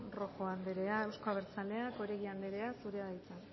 rojo anderea euzko abertzaleak oregi anderea zurea da hitza